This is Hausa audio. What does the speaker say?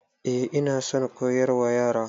Eh ina son koyarwa Yara.